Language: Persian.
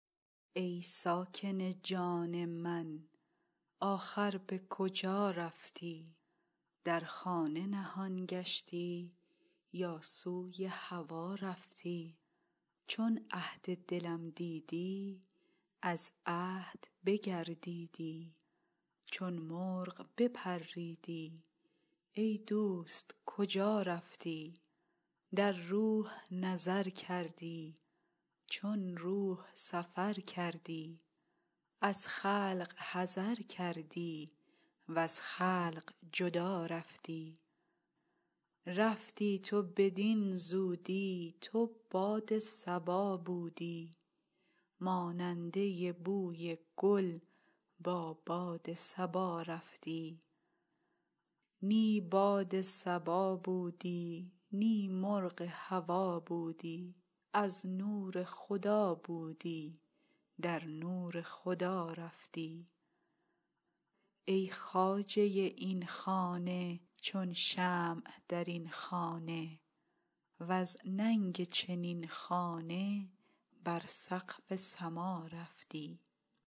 ای ساکن جان من آخر به کجا رفتی در خانه نهان گشتی یا سوی هوا رفتی چون عهد دلم دیدی از عهد بگردیدی چون مرغ بپریدی ای دوست کجا رفتی در روح نظر کردی چون روح سفر کردی از خلق حذر کردی وز خلق جدا رفتی رفتی تو بدین زودی تو باد صبا بودی ماننده بوی گل با باد صبا رفتی نی باد صبا بودی نی مرغ هوا بودی از نور خدا بودی در نور خدا رفتی ای خواجه این خانه چون شمع در این خانه وز ننگ چنین خانه بر سقف سما رفتی